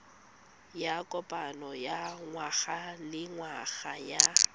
ya kopano ya ngwagalengwaga ya